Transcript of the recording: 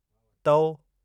तओ